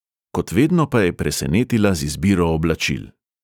Kot vedno pa je presenetila z izbiro oblačil.